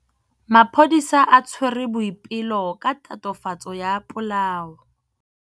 Maphodisa a tshwere Boipelo ka tatofatsô ya polaô.